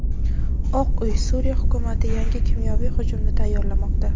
Oq uy: Suriya hukumati yangi kimyoviy hujumni tayyorlamoqda.